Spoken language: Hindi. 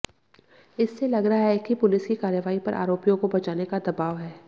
इससे लग रहा है कि पुलिस की कार्रवाई पर आरोपियों को बचाने का दबाव है